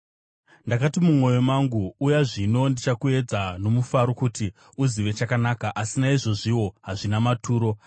Ndakati mumwoyo mangu, “Uya zvino, ndichakuedza nomufaro kuti uzive chakanaka.” Asi naizvozviwo hazvina maturo.